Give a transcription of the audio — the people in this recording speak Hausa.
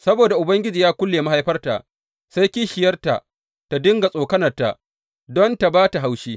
Saboda Ubangiji ya kulle mahaifarta, sai kishiyarta ta dinga tsokanarta don tă ba ta haushi.